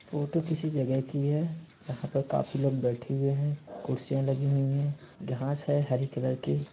Photo किसी जगह की है। यहाँ पे काफी लोग बैठे हुए हैं। कुर्सियाँ लगी हुई हैं। घास है हरी कलर की।